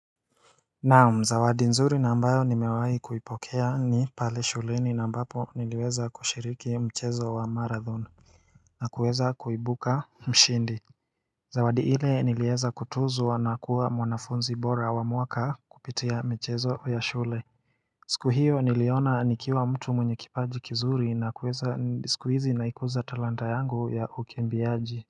Naam zawadi nzuri na ambayo nimewai kuipokea ni pale shuleni na mbapo niliweza kushiriki mchezo wa marathon na kuweza kuibuka mshindi Zawadi ile niliweza kutuzwa nakuwa mwanafunzi bora wa mwaka kupitia michezo ya shule siku hiyo niliona nikiwa mtu mwenye kipaji kizuri na kuweza ni siku hizi naikuza talanta yangu ya ukembiaji.